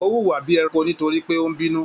O wuwa bíi ẹranko nítorí pé o n bínú.